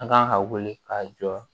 An kan ka wuli ka jɔ